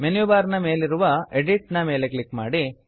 menu bar ನ ಮೇಲಿರುವ edit edit ಮೇಲೆ ಕ್ಲಿಕ್ ಮಾಡಿ